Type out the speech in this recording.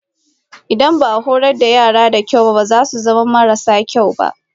Idan ba a horar da yara da kyau ba za su zama marasa kyau.